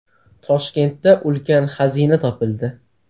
Toshkentda ulkan xazina topildi.